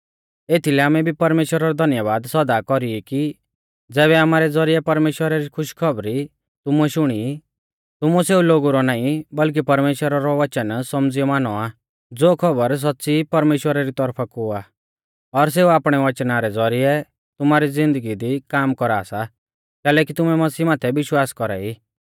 एथीलै आमै भी परमेश्‍वरा रौ धन्यबाद सौदा कौरी कि ज़ैबै आमारै ज़ौरिऐ परमेश्‍वरा री खुशखौबरी तुमुऐ शुणी तुमुऐ सेऊ लोगु रौ नाईं बल्कि परमेश्‍वरा रौ वचन सौमझ़ियौ मानौ आ ज़ो खौबर सौच़्च़ी परमेश्‍वरा री तौरफा कु आ और सेऊ आपणै वचना रै ज़ौरिऐ तुमारी ज़िन्दगी दी काम कौरा सा कैलैकि तुमै मसीह माथै विश्वास कौरा ई